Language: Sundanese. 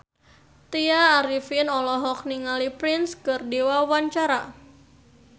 Tya Arifin olohok ningali Prince keur diwawancara